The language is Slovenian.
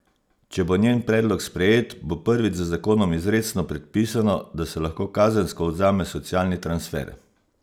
Če bo njen predlog sprejet, bo prvič z zakonom izrecno predpisano, da se lahko kazensko odvzame socialni transfer.